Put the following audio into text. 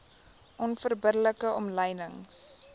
onverbidde like omlynings